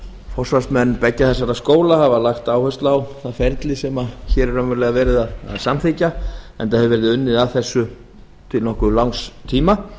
forsvarsmenn beggja þessara skóla hafa lagt áherslu á það ferli sem hér er verið að samþykkja enda hefur verið unnið að þessu til nokkuð langs tíma